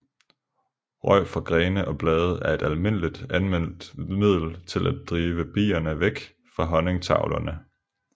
Røg fra grene og blade er et almindeligt anvendt middel til at drive bierne væk fra honningtavlerne